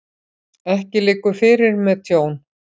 Ekki liggur fyrir með tjón